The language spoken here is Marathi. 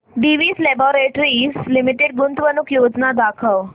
डिवीस लॅबोरेटरीज लिमिटेड गुंतवणूक योजना दाखव